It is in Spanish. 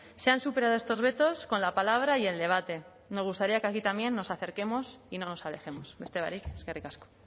se han superado estos vetos con la palabra y el debate me gustaría que aquí también nos acerquemos y no nos alejemos beste barik eskerrik asko